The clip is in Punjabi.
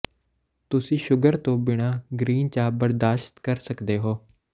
ਤੁਸੀਂ ਸ਼ੂਗਰ ਤੋਂ ਬਿਨਾਂ ਗਰੀਨ ਚਾਹ ਬਰਦਾਸ਼ਤ ਕਰ ਸਕਦੇ ਹੋ